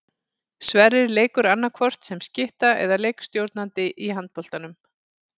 Sverrir leikur annaðhvort sem skytta eða leikstjórnandi í handboltanum.